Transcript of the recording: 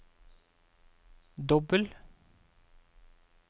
dobbel